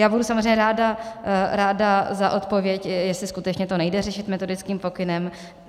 Já budu samozřejmě ráda za odpověď, jestli skutečně to nejde řešit metodickým pokynem.